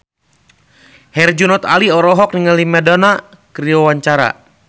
Herjunot Ali olohok ningali Madonna keur diwawancara